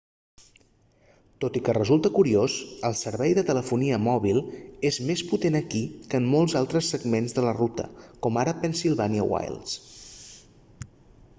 tot i que resulta curiós el servei de telefonia mòbil és més potent aquí que en molts altres segments de la ruta com ara pennsylvania wilds